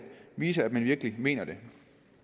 vise at man virkelig mener det